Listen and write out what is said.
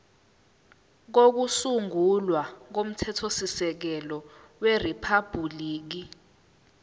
kokusungula komthethosisekelo weriphabhuliki